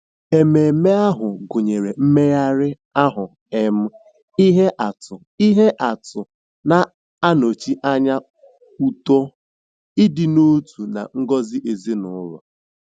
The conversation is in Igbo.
Ememe ahụ gụnyere mmegharị ahụ um ihe atụ ihe atụ na-anọchi anya uto, ịdị n'otu, na ngọzi ezinụlọ.